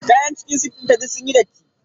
Kayan cikin sif dinta duk sunyi datti.